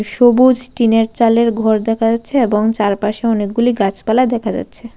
সবুজ টিনের চালের ঘর দেখা যাচ্ছে এবং চারপাশে অনেকগুলি গাছপালা দেখা যাচ্ছে।